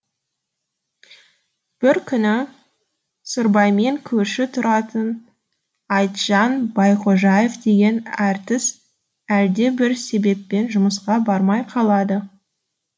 бір күні сырбаймен көрші тұратын айтжан байқожаев деген артист әлде бір себеппен жұмысқа бармай қалады